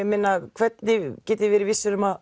hvernig getið þið verið viss um að